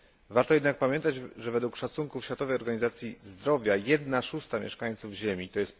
Warto jednak pamiętać, że według szacunków Światowej Organizacji Zdrowia jedna szósta mieszkańców Ziemi, tj.